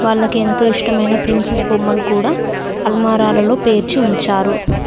వాళ్ళకేంతో ఇష్టమైన ప్రిన్సెస్ బొమ్మలు కూడా అల్మారాలలో పేర్చి ఉంచారు.